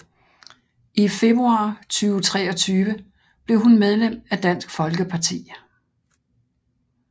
I februar 2023 blev hun medlem af Dansk Folkeparti